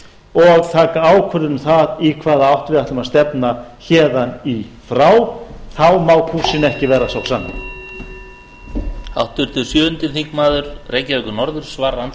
og taka ákvörðun um það í hvaða átt við ætlum að stefna héðan í frá þá má kúrsinn ekki ver a sá sami